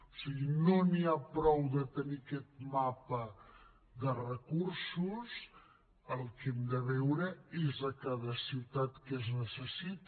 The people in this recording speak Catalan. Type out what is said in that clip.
o sigui no n’hi ha prou de tenir aquest mapa de recursos el que hem de veure és a cada ciutat què es necessita